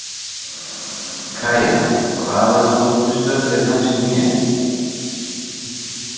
Kæja, hvaða stoppistöð er næst mér?